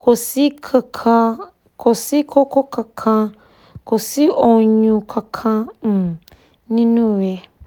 kò sí koko kankan kò sí oyun kankan um nínú rẹ̀